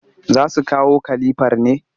Za su kawo kalifar ne?